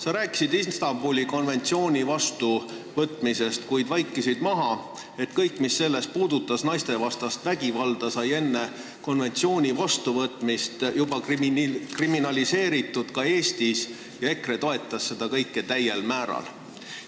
Sa rääkisid Istanbuli konventsiooni vastuvõtmisest, kuid vaikisid maha, et kõik, mis selles puudutas naistevastast vägivalda, sai enne konventsiooni vastuvõtmist juba kriminaliseeritud ka Eestis ja EKRE toetas seda kõike täiel määral.